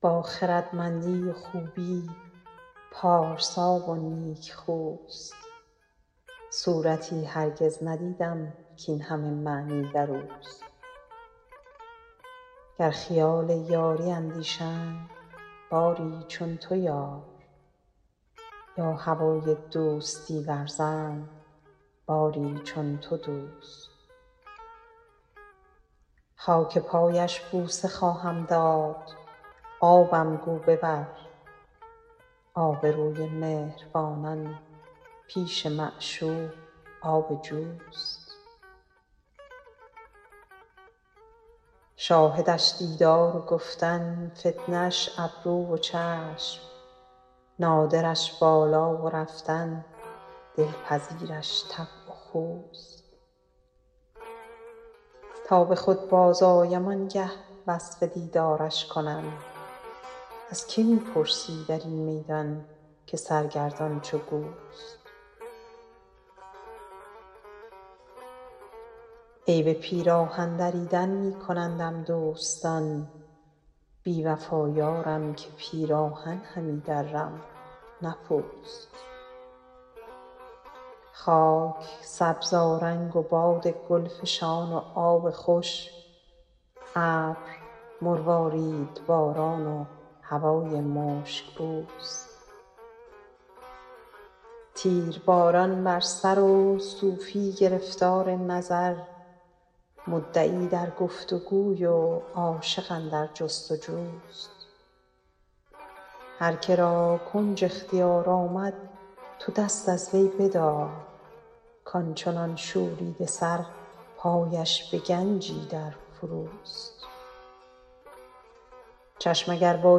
با خردمندی و خوبی پارسا و نیکخوست صورتی هرگز ندیدم کاین همه معنی در اوست گر خیال یاری اندیشند باری چون تو یار یا هوای دوستی ورزند باری چون تو دوست خاک پایش بوسه خواهم داد آبم گو ببر آبروی مهربانان پیش معشوق آب جوست شاهدش دیدار و گفتن فتنه اش ابرو و چشم نادرش بالا و رفتن دلپذیرش طبع و خوست تا به خود بازآیم آن گه وصف دیدارش کنم از که می پرسی در این میدان که سرگردان چو گوست عیب پیراهن دریدن می کنندم دوستان بی وفا یارم که پیراهن همی درم نه پوست خاک سبزآرنگ و باد گل فشان و آب خوش ابر مرواریدباران و هوای مشک بوست تیرباران بر سر و صوفی گرفتار نظر مدعی در گفت وگوی و عاشق اندر جست وجوست هر که را کنج اختیار آمد تو دست از وی بدار کان چنان شوریده سر پایش به گنجی در فروست چشم اگر با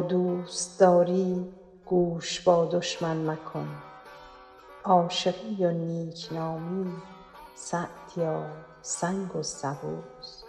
دوست داری گوش با دشمن مکن عاشقی و نیک نامی سعدیا سنگ و سبوست